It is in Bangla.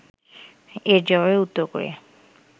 এর জবাবে উত্তর কোরিয়া